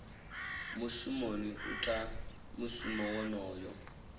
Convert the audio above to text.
mushumoni u ita mushumo wonoyo